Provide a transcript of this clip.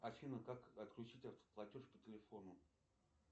афина как отключить автоплатеж по телефону